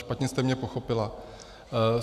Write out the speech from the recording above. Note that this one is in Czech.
Špatně jste mě pochopila.